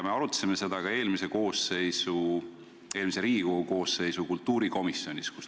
Me arutasime seda ka eelmise Riigikogu koosseisu kultuurikomisjonis.